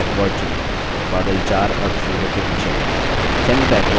बादल 4 अब सूर्य के पीछे है